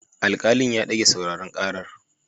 Alkalin ya dage sauraron karar.